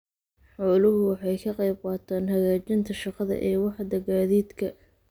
Xooluhu waxay ka qaybqaataan hagaajinta shaqada ee waaxda gaadiidka.